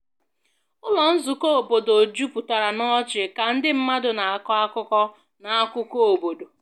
Ụlọ Nzukọ obodo jupụtara n'ọchị ka ndị mmadụ na-akọ akụkọ na akụkọ obodo